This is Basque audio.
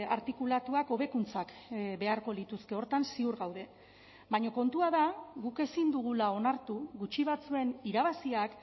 artikulatuak hobekuntzak beharko lituzke horretan ziur gaude baina kontua da guk ezin dugula onartu gutxi batzuen irabaziak